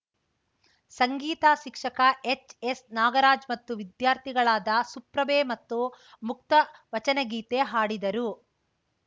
ಸಂಗೀತ ಶಿಕ್ಷಕ H S Nagaraj ಮತ್ತು ವಿದ್ಯಾರ್ಥಿಗಳಾದ ಸುಪ್ರಭೆ ಮತ್ತು ಮುಕ್ತಾ ವಚನಗೀತೆ ಹಾಡಿದರು